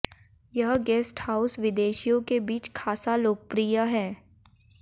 यह guest house विदेशियों के बीच खासा लोकप्रिय है